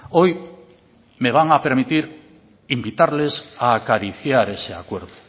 hoy me van a permitir invitarles a acariciar ese acuerdo